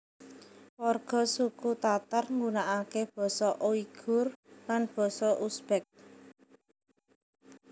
Warga suku Tatar nggunakake basa Uighur lan basa Uzbek